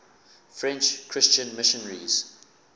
french christian missionaries